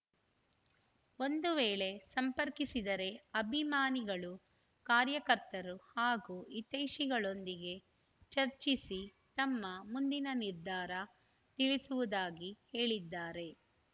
ಒಂದು ವೇಳೆ ಸಂಪರ್ಕಿಸಿದರೆ ಅಭಿಮಾನಿಗಳು ಕಾರ್ಯಕರ್ತರು ಹಾಗೂ ಹಿತೈಷಿಗಳೊಂದಿಗೆ ಚರ್ಚಿಸಿ ತಮ್ಮ ಮುಂದಿನ ನಿರ್ಧಾರ ತಿಳಿಸುವುದಾಗಿ ಹೇಳಿದ್ದಾರೆ